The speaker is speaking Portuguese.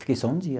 Fiquei só um dia.